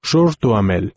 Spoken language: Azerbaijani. Şarl Duamel.